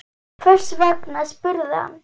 Hvers vegna? spurði hann.